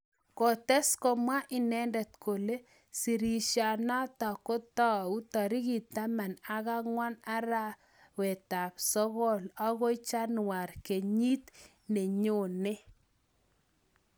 Kotes komwa inendet kole sirishanatak kotou tarikit taman ak angwan arap sogol akoi januar kenyit nenyone.